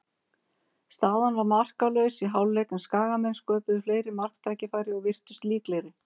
Staðan var markalaus í hálfleik, en Skagamenn sköpuðu fleiri marktækifæri og virtust líklegri.